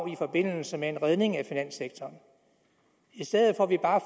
i forbindelse med en redning af finanssektoren i stedet for at vi bare